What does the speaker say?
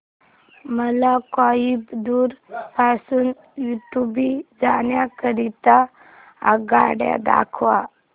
मला कोइंबतूर पासून उडुपी जाण्या करीता आगगाड्या दाखवा